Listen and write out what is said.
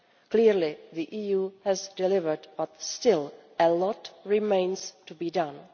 Clearly, the EU has delivered but still a lot remains to be done.